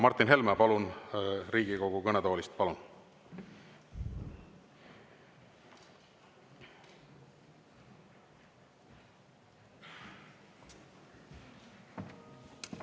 Martin Helme, palun Riigikogu kõnetoolist!